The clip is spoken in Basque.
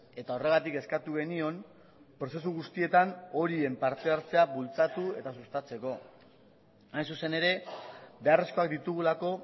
eta horregatik eskatu genion prozesu guztietan horien parte hartzea bultzatu eta sustatzeko hain zuzen ere beharrezkoak ditugulako